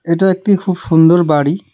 এটা একটি খুব সুন্দর বাড়ি।